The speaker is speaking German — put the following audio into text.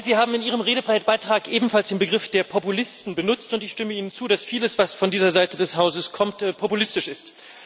Herr Reul, Sie haben in Ihrem Redebeitrag ebenfalls den Begriff Populisten benutzt, und ich stimme Ihnen zu, dass vieles, was von dieser Seite des Hauses kommt, populistisch ist.